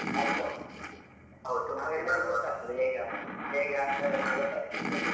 ಹೌದ್ ಹೌದು. ಗೊತ್ತಾಗ್ತದೆ ಹೇಗೆ ಆಡ್ತಾರೆ ಹೇಗೆ ಆಡ್ತಾರೆ ಅಂತ ಗೊತ್ತಾಗ್ತದೆ .